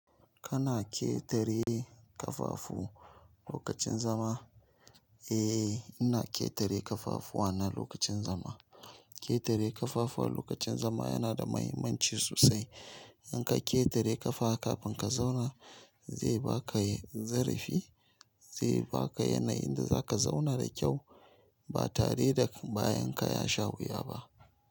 Kana ƙetare ƙafafu lokacin zama? Eh, ina ƙetare ƙafafuwa na lokacin zama. Ƙetare ƙafafuwa lokacin zama yana da muhimmanci sosai. In ka ƙetare ƙafa kafin ka zauna zai baka zarifi, zai baka yanayin da zaka zauna da kyau ba tare da bayan ka ya sha wuya ba.